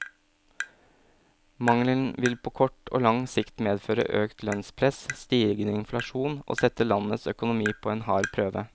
Mangelen vil på kort og lang sikt medføre øket lønnspress, stigende inflasjon og sette landets økonomi på en hard prøve.